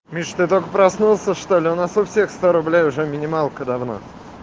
мечты только проснулся что-ли у нас у всех сто рублей уже минималка давно